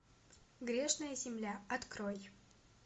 грешная земля открой